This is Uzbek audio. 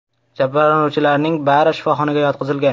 Jabrlanuvchilarning bari shifoxonaga yotqizilgan.